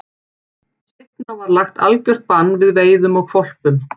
Seinna var lagt algjört bann við veiðum á hvolpum.